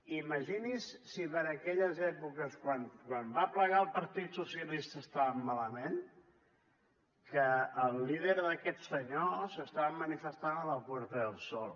imagini’s si per aquelles èpoques quan va plegar el partit socialista estàvem malament que el líder d’aquests senyors s’estava manifestant a la puerta del sol